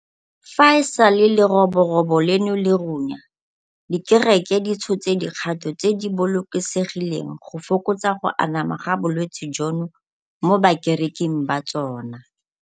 Fa e sale leroborobo leno le runya, dikereke di tshotse dikgato tse di bolokesegileng go fokotsa go anama ga bolwetse jono mo bakereking ba tsona.